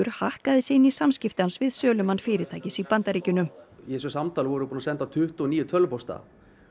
hakkaði sig inn í samskipti hans við sölumann fyrirtækis í Bandaríkjunum í þessu samtali vorum við búin að senda tuttugu og níu tölvupósta